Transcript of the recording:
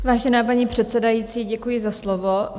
Vážená paní předsedající, děkuji za slovo.